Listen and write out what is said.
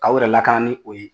K'aw yɛrɛ lakana ni o ye.